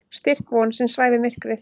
Styrk von sem svæfir myrkrið.